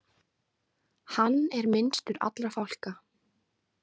Hann er minnstur allra fálka.